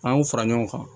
An y'o fara ɲɔgɔn kan